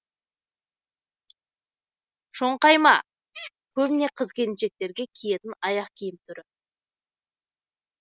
шоңқайма көбіне қыз келіншектер киетін аяқ киім түрі